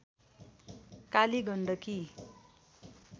Kaligandaki